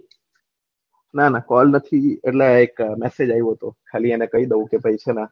નાના કોલ નથી એટલે એક મેસેજ આયુ હતું ખાલી એને કહી દઉં કે